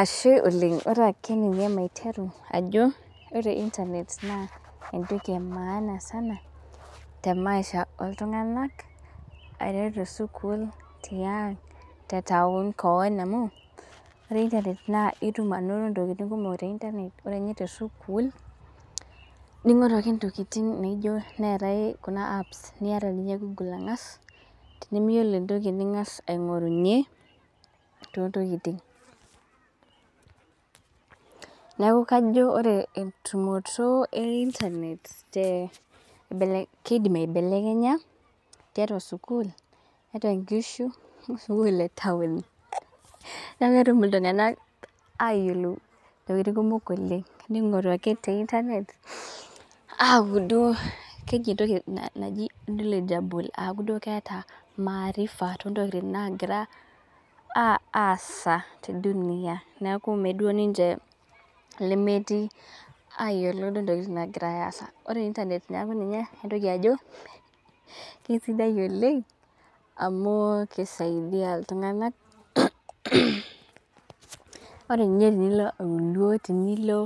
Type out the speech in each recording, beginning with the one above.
Ashe oleng. ake ninye maiteru ajo ore internet entoki e maana sana te maisha oltunganak, aiteru te sukuul, tiang' te taon keon amu ore internet itum anoto ntokitin kumok te internet ore ninye te sukuul ninteru ake ntokitin te internet Kuna apps niata niya google ang'as. niyioolo entoki ningas aing'ourunye. too ntokitin. neeku kajo ore entumoto e internet keidim aibelekenya tiatua sukuul tiatua sukuul tiatua nkishu. sukuul te taon. neeku ketum iltunganak aayiolou intokitin kumok oleng ningoru ake te internet aapuo duo entoki naji dualgeble aaku duo keeta maarifa too ntokitin nagira aasa te dunia neeku meyieu duo ninche lemetii aayiolou duo ntokitin naagirae aasa. ore internet neeku ninye intokitin ajo kisidai oleng amu kisaidia iltunganak, ore ninye tenilo auluo. tenilo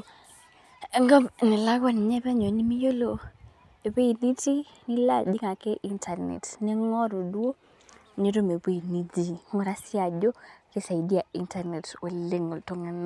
enkop nalakua ninye penyo nimiyiolo ewueji nitii. nilo ajing ake internet ningoru duo nitum ewueji nitumie. ngura siiyie ajo kisaidia internet oleng iltunganak.